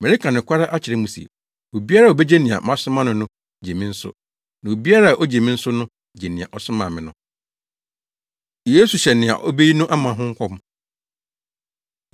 Mereka nokware akyerɛ mo se, obiara a obegye nea masoma no no gye me nso, na obiara a ogye me nso no gye nea ɔsomaa me no.” Yesu Hyɛ Nea Obeyi No Ama Ho Nkɔm